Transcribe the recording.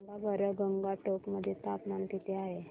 सांगा बरं गंगटोक मध्ये तापमान किती आहे